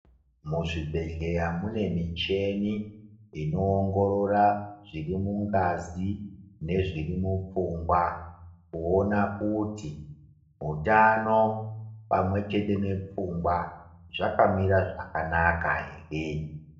Muzvibhedhleya munemicheni, inowongorora zvirimungazi nezvirimupfungwa, kuwona kuti wutano pamwe chete nepfungwa zvakamira zvakanaka here.